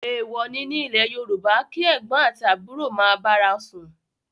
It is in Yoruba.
Èwò ni nílẹ̀ Yorùbá ni kí ẹ̀gbọ́n àti àbúrò ma bára wọn sún